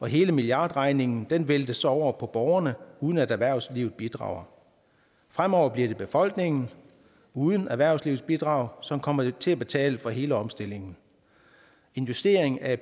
hele milliardregningen væltes over på borgerne uden at erhvervslivet bidrager fremover bliver det befolkningen uden erhvervslivets bidrag som kommer til at betale for hele omstillingen investeringen af